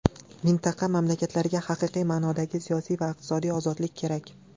Mintaqa mamlakatlariga haqiqiy ma’nodagi siyosiy va iqtisodiy ozodlik kerak.